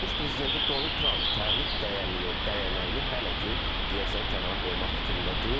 ABŞ prezidenti Donald Tramp tarif dayağını hələ ki, deyəsən, kənara qoymaq fikrində deyil.